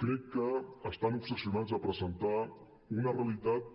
crec que estan obsessionats a presentar una realitat